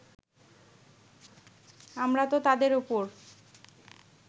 আমরা তো তাদের ওপর